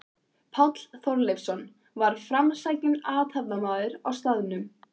Páll Þorleifsson var framsækinn athafnamaður á staðnum.